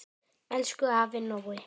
Elsku afi Nói.